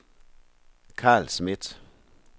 Carl Schmidt